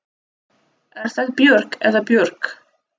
Er það Björg eða Björg?